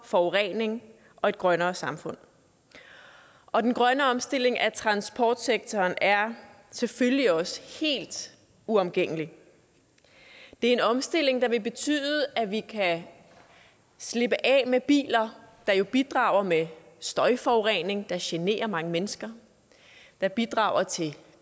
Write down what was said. forurening og et grønnere samfund og den grønne omstilling af transportsektoren er selvfølgelig også helt uomgængelig det er en omstilling der vil betyde at vi kan slippe af med biler der jo bidrager med støjforurening der generer mange mennesker der bidrager til